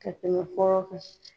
Ka tɛmɛ fɔlɔ kan